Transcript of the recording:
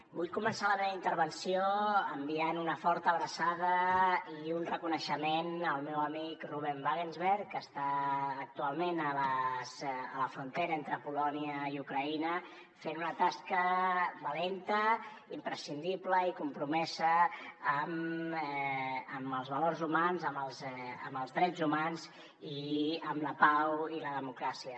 vull començar la meva intervenció enviant una forta abraçada i un reconeixement al meu amic ruben wagensberg que està actualment a la frontera entre polònia i ucraïna fent una tasca valenta imprescindible i compromesa amb els valors humans amb els drets humans i amb la pau i la democràcia